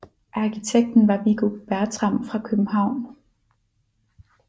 Arkitekten var Viggo Bertram fra København